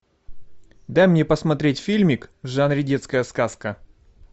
дай мне посмотреть фильмик в жанре детская сказка